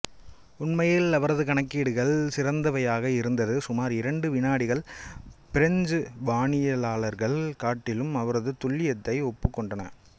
உண்மையில் அவரது கணக்கீடுகள் சிறந்தவையாக் இருந்தது சுமார் இரண்டு வினாடிகள் பிரெஞ்சு வானியலாளர்களைக் காட்டிலும் அவரது துல்லியத்தை ஒப்புக் கொண்டன